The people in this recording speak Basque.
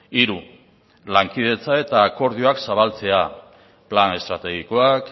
hiru lankidetza eta akordioak zabaltzea plan estrategikoak